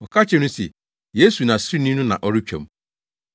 Wɔka kyerɛɛ no se, “Yesu Nasareni no na ɔretwam!”